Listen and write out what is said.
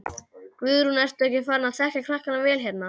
Guðrún: Ertu ekki farin að þekkja krakkana vel hérna?